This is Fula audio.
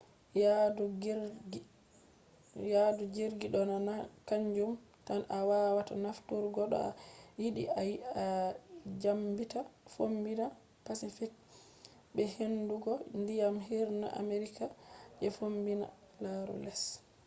yaadu jirgi do na kanjum tan a wawata nafturgo to a yiɗi a dyaɓɓita fombina pacific be hunduko ndiyam hirna amerika je fombina. laru les